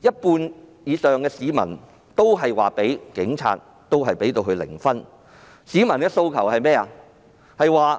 有過半市民給警隊的表現打零分，市民的訴求是甚麼？